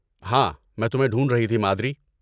ہاں، میں تمہیں ڈھونڈ رہی تھی، مادری۔